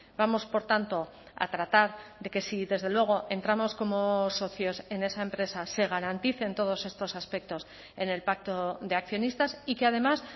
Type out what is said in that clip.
vamos por tanto a tratar de que si desde luego entramos como socios en esa empresa se garanticen todos estos aspectos en el pacto de accionistas y que además